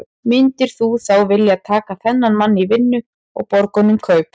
Myndir þú þá vilja taka þennan mann í vinnu og borga honum kaup?